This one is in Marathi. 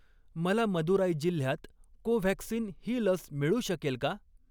मला मदुराई जिल्ह्यात कोव्हॅक्सिन ही लस मिळू शकेल का?